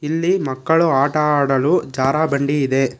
ಇಲ್ಲಿ ಮಕ್ಕಳು ಆಟ ಆಡಲು ಜಾರಾ ಬಂಡಿ ಇದೆ.